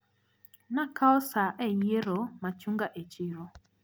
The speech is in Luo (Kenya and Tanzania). Nakao saa e yiero machunga e chiro.